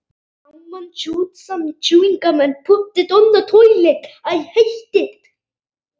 Og svo kemur nótt.